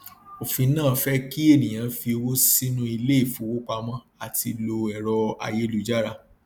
òfin náà fẹ kí ènìyàn fi owó sínú ilé ìfowópamọ àti lo ẹrọ ayélujára